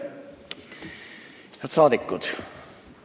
Head rahvasaadikud!